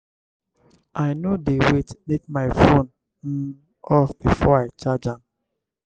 i no dey wait make my fone um off before i charge am.